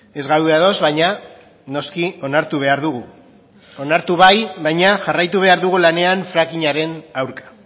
ez gaude ados baina noski onartu behar dugu onartu bai baina jarraitu behar dugu lanean frackingaren aurka